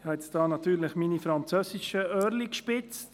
Ich habe natürlich meine französischen «Öhrchen» gespitzt.